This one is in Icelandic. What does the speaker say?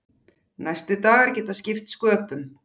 Næstu dagar geta skipt sköpum.